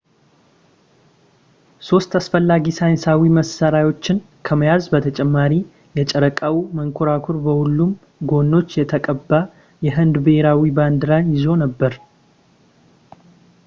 ሶስት አስፈላጊ ሳይንሳዊ መሳሪያዎችን ከመያዝ በተጨማሪ የጨረቃው መንኮራኩር በሁሉም ጎኖች የተቀባ የህንድ ብሔራዊ ባንዲራን ይዞ ነበር